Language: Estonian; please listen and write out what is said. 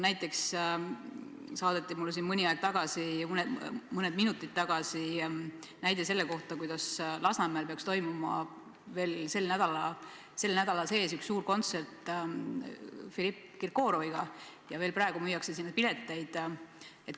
Näiteks saadeti mulle mõni minut tagasi info, et Lasnamäel peaks toimuma sel nädalal suur Filipp Kirkorovi kontsert ja veel praegu müüakse sinna pileteid.